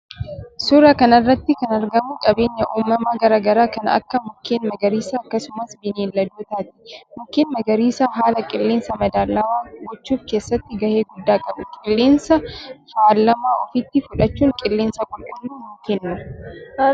Suuraa kanarratti kan argamu qabeenya uumama garaa garaa kan Akka mukkeen magariisa akkasumas bineeldotaati. Mukkeen magariisa haala qillensa madaalawaa gochuuf keessatti gahe guddaa qabu qilleensa faalama ofitti fudhachuun qillensa qulqullu nu kennu.